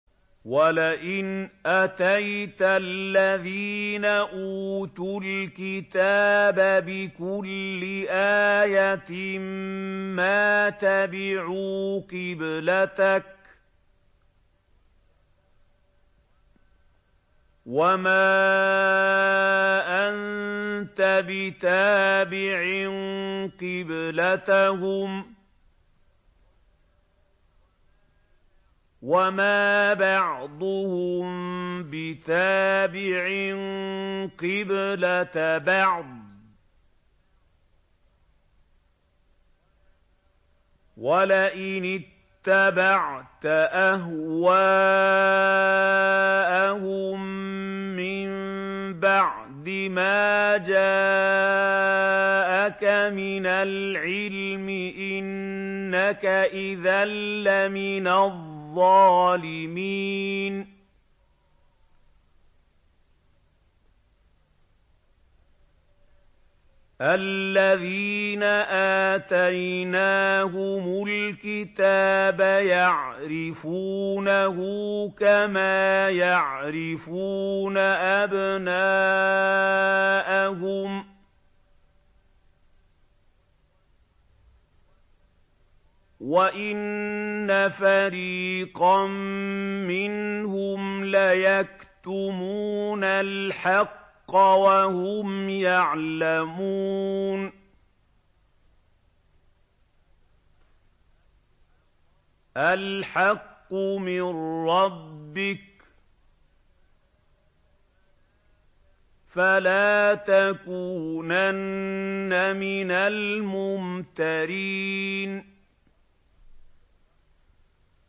وَلَئِنْ أَتَيْتَ الَّذِينَ أُوتُوا الْكِتَابَ بِكُلِّ آيَةٍ مَّا تَبِعُوا قِبْلَتَكَ ۚ وَمَا أَنتَ بِتَابِعٍ قِبْلَتَهُمْ ۚ وَمَا بَعْضُهُم بِتَابِعٍ قِبْلَةَ بَعْضٍ ۚ وَلَئِنِ اتَّبَعْتَ أَهْوَاءَهُم مِّن بَعْدِ مَا جَاءَكَ مِنَ الْعِلْمِ ۙ إِنَّكَ إِذًا لَّمِنَ الظَّالِمِينَ